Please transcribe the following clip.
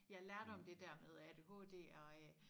Jeg lærte om det dér med ADHD og øh